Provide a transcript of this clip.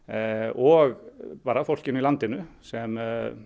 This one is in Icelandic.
og fólkinu í landinu sem